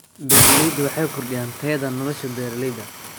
Beeraleydu waxay kordhiyaan tayada nolosha beeralayda.